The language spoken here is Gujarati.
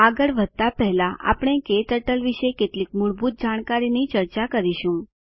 આગળ વધતા પહેલા આપણે ક્ટર્ટલ વિશે કેટલીક મૂળભૂત જાણકારીની ચર્ચા કરીશું